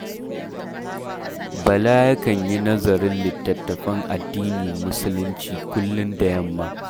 Bala yakan yi nazarin littattafan addinin Musulunci kullum da yamma